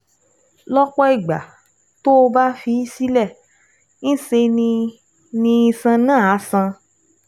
Lọ́pọ̀ ìgbà, tó o bá fi í sílẹ̀, ńṣe ni ni iṣan náà á sàn